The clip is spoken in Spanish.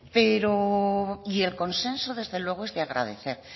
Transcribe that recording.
y el consenso desde luego es de agradecer